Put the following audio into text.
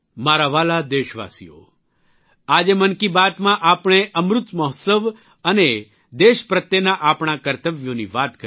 મારા વ્હાલા દેશવાસીઓ આજે મનકી બાતમાં આપણે અમૃત મહોત્સવ અને દેશ પ્રત્યેના આપણા કર્તવ્યોની વાત કરી